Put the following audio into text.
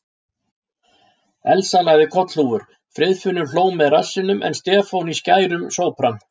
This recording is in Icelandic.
Elsa lagði kollhúfur, Friðfinnur hló með rassinum en Stefán í skærum sópran.